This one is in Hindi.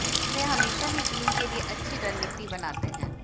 वह हमेशा ही टीम के लिए अच्छी रणनीति बनाते थे